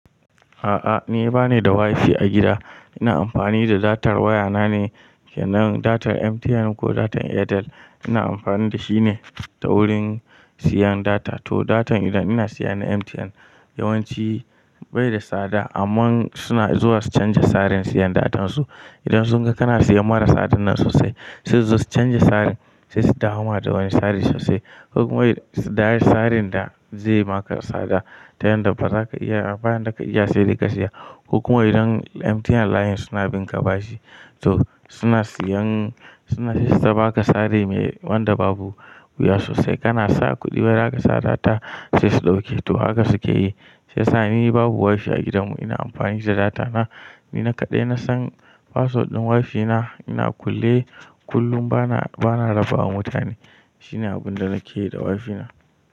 A'a ni bani da WiFi a gida. Ina amfani da datar waya na ne, kenan datar MTN ko datar Airtel ina amfani da shi ne ta wurin siyan data. To datar idan ina siya na MTN yawanci bai da tsada amma suna zuwa su canja tsarin siyan datan su. Idan sun ga kana siya mara tsada nan sosai, su zasu canja tsarin sai su dawama da wani tsari sosai. Hukuma yi tsarin da ze maka tsada ta yanda baza ka iya, abunda ka iya sai dai ka siya. Hukuma idan MTN layin suna binka bashi to suna siyan, suna sai su ta baka tsari me wanda babu wuya sosai. Kana sa kudi bari aka sa data sai su dauke to haka suke yi. Sai sani babu WiFi a gidan mu ina amfani da data na. Ni na kaɗai nasan password ɗin WiFi na ina kulle kullum bana, bana raba wa mutane. Shine abunda nake yi da WiFi na.